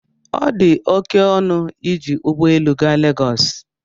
ọ dị oke ọnụ iji ụgbọ elu gaa Legọs